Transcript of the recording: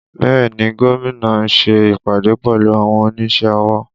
Bẹẹ ni, Gómìnà ṣe ìpàdé pẹ̀lú àwọn onísẹ́ ọwọ́